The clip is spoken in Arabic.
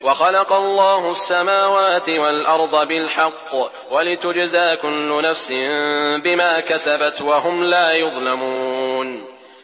وَخَلَقَ اللَّهُ السَّمَاوَاتِ وَالْأَرْضَ بِالْحَقِّ وَلِتُجْزَىٰ كُلُّ نَفْسٍ بِمَا كَسَبَتْ وَهُمْ لَا يُظْلَمُونَ